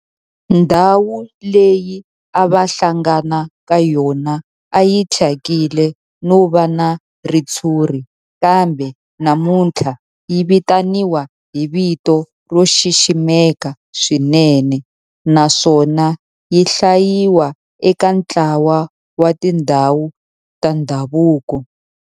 Ndhawu leyi a va hlangana ka yona a yi thyakile no va na ritshuri kambe namuntlha yi vitaniwa hi vito ro xiximeka swinene naswona yi hlayiwa eka ntlawa wa tindhawu ta ndhavuko.